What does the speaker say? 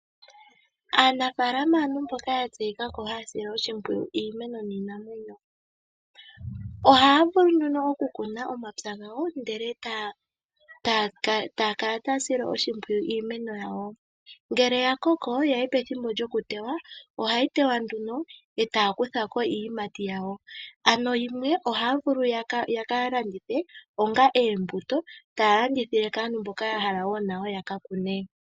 Aanafalama aantu mboka ya tseyika haya sile iimeno niinamwenyo yawo oshipwiyu. Ohaya kunu omapya gawo etaya kala taya sile oshipwiyu iimeno yawo. Ngele yathiki pethimbo lyokuteya ohaya teya nokukuthako iiyimati yawo. Yimwe ohaya vulu okukalanditha onga oombuto kwaamboka yahala oku kakuna.